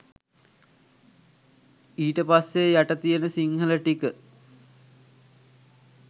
ඊට පස්සෙ යට තියන සිංහල ටික